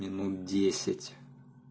минут десять